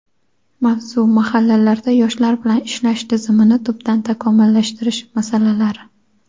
Mavzu: Mahallalarda yoshlar bilan ishlash tizimini tubdan takomillashtirish masalalari.